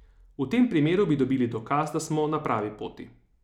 V tem primeru bi dobili dokaz, da smo na pravi poti.